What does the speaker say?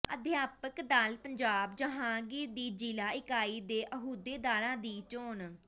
ਅਧਿਆਪਕ ਦਲ ਪੰਜਾਬ ਜਹਾਂਗੀਰ ਦੀ ਜ਼ਿਲ੍ਹਾ ਇਕਾਈ ਦੇ ਅਹੁਦੇਦਾਰਾਂ ਦੀ ਚੋਣ